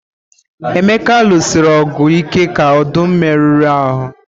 Emeka lụsiri ọgụ ike ka ọdụm merụrụ ahụ.